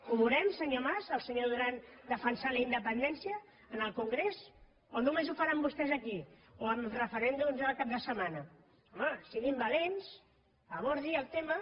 ho veurem senyor mas el senyor duran defensant la independència en el congrés o només ho faran vostès aquí o amb referèndums el cap de setmana home siguin valents abordi el tema